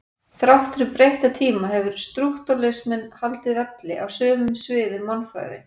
Þrátt fyrir breytta tíma hefur strúktúralisminn haldið velli á sumum sviðum mannfræði.